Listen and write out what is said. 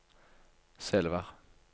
Selvær